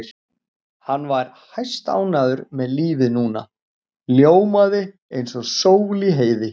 Hann var hæstánægður með lífið núna, ljómaði eins og sól í heiði.